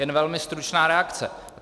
Jen velmi stručná reakce.